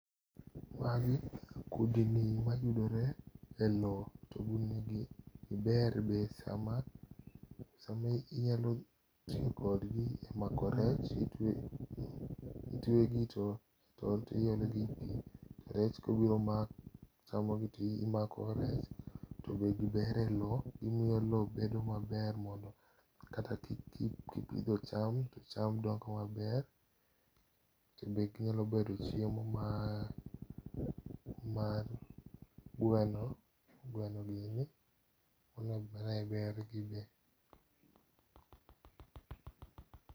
Magi kudni mayudore e loo togin magi ber be sama, sama inyalo tiyo kodgi e mako rech. Itwegi to iologi e pii, rech kobiro mako chamo gi to imako rech. To be gibere loo, gimiyo loo bedo maber mondo kata kipidho cham to cham dongo maber to bende ginyalo bedo chiemo mar gweno, gweno gini,e bergi be